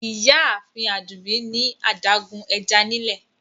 Ìyààfin Adúmbí ni adágún è̩já nílẹ̀.